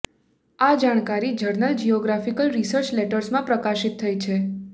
આ જાણકારી journal geophysical research લેટર્સમાં પ્રકાશિત થઈ છે